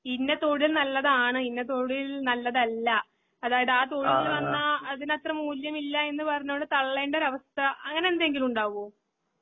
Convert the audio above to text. ഇന്ന് തൊഴിൽനല്ലതാണ്, ഇന്ന തൊഴിൽനല്ലതല്ല അതായത് ആതൊഴിൽവന്നാ അതിനത്ര മൂല്യമില്ലായെന്നുപറഞ്ഞോണ്ട് തള്ളേണ്ടൊരാവസ്ഥ അങ്ങനെന്തെങ്കിലുണ്ടാവോ?